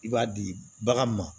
I b'a di bagan ma